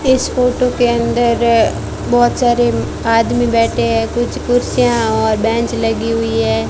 इस फोटो के अंदर बहोत सारे आदमी बैठे हैं कुछ कुर्सियां और बेंच लगी हुई है।